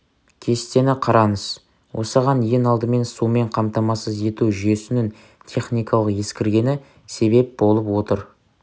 кестені қараңыз осыған ең алдымен сумен қамтамасыз ету жүйесінің техникалық ескіргені себеп болып отыр